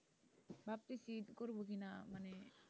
করবো কিনা মানে,